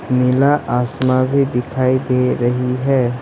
नीला आसमान भी दिखाई दे रही है।